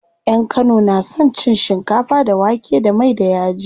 Yan kano na son cin shinkafa da wake da mai da yaji.